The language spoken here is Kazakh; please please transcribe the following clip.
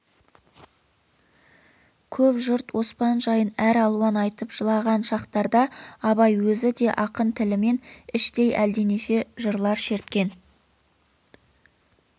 көп жұрт оспан жайын әр алуан айтып жылаған шақтарда абай өзі де ақын тілімен іштей әлденеше жырлар шерткен